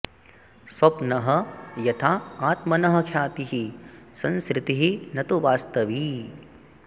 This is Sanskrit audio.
स्वप्नः यथा आत्मनः ख्यातिः संसृतिः न तु वास्तवी